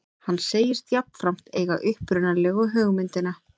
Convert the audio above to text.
Hann segist jafnframt eiga upprunalegu hugmyndina